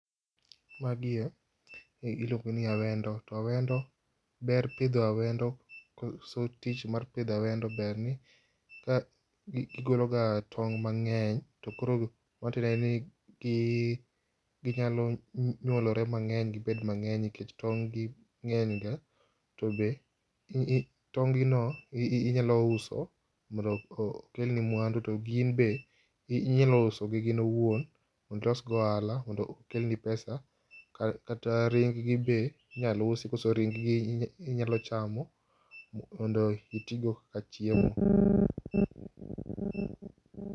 Magie iluongo ni awendo to awendo ber pidho awendo, koso tich mar pidho awendo berni gigolo ga tong mangeny tokoro ma tiende ni gi, ginyalo nyuolore mangeny gibed mangeny nikech tong gi ngeny ga ,tobe tong gi no inyalo uso mondo okelni mwandu to ginbe inyalo usogi gin owuon mondo ilosgo ohala mondo okelni pesa, kata ring gi be inyalo usi koso ring gi inyalo chamo mondo itigo e chiemo